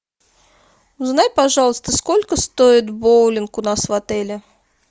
узнай пожалуйста сколько стоит боулинг у нас в отеле